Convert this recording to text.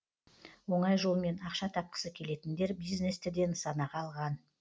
оңай жолмен ақша тапқысы келетіндер бизнесті де нысанаға алған